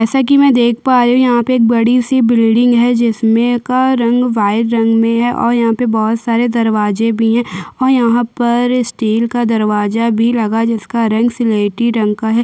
जैसे की मै यहाँ देख पा रही हु एक बड़ी सी बिलांडिंग है जिसमे का रंग वाइट रंग में है और यहाँ पे बहोत से दरवाजे भी है और यहाँ पे स्टील का दरवाजा भी लगा है जिसका रंग स्लेटी रंग का है।